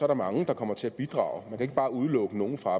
der mange der kommer til at bidrage man kan ikke bare udelukke nogen fra